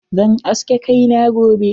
Zan aske kai na gobe.